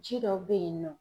Ji dɔw bɛ yen nɔ